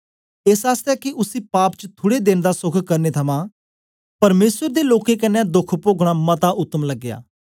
एस आसतै के उसी पाप च थुड़े देन दा सोख करने थमां परमेसर दे लोकें कन्ने दोख पोगना मता उत्तम लगया